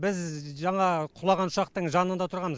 біз жаңа құлаған ұшақтың жанында тұрған